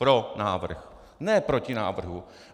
Pro návrh, ne proti návrhu.